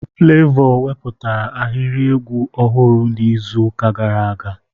Flevọ weputara ahịrị egwu ọhụrụ n'izu ụka gara aga.